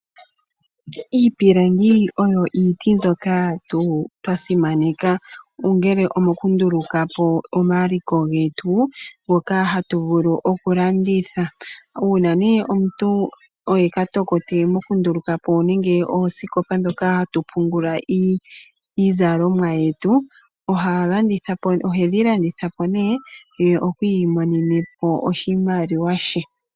Iipilangi oyo iiti mbyoka aantu twa simaneka, ongele omo ku nduluka po omaliko getu ngoka ha tu vulu oku landitha. Uuna omuntu oye katokote moku nduluka po oosikopa ndhoka ha tu pungula iizalomwa yetu, ohe dhi landitha po ye iimonene mo oshimaliwa she.